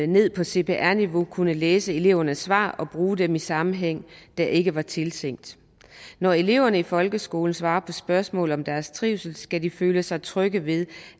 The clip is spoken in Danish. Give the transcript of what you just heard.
ned på cpr niveau kunne læse elevernes svar og bruge dem i en sammenhæng der ikke var tiltænkt når eleverne i folkeskolen svarer på spørgsmål om deres trivsel skal de føle sig trygge ved